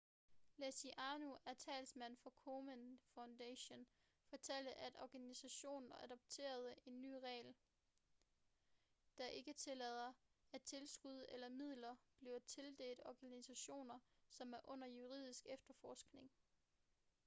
leslie aun en talsmand for komen foundation fortalte at organisationen adopterede en ny regel der ikke tillader at tilskud eller midler bliver tildelt organisationer som er under juridisk efterforskning